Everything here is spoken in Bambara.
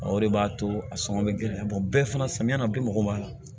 O de b'a to a sɔngɔ bɛ gɛlɛya bɛɛ fana samiya na bi mɔgɔ b'a la